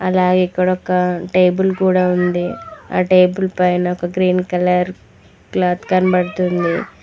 అలాగే ఇక్కడొక టేబుల్ కూడా ఉంది ఆ టేబుల్ పైన ఒక గ్రీన్ కలర్ క్లాత్ కనబడుతుంది